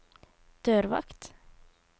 dørvakt